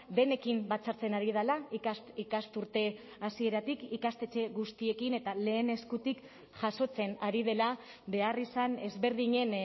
denekin batzartzen ari dela ikasturte hasieratik ikastetxe guztiekin eta lehen eskutik jasotzen ari dela beharrizan ezberdinen